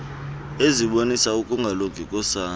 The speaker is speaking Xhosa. ezibonisa ukungalungi kosana